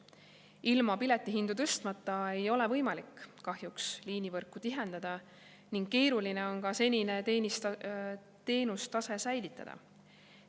Ilma piletihindu tõstmata ei ole võimalik kahjuks liinivõrku tihendada ning keeruline on senine teenustase säilitada.